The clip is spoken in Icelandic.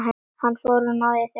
Hann ónáðar þig ekki framar.